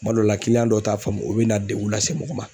Kuma dɔw la dɔw t'a faamu o be na degun lase mɔgɔ ma.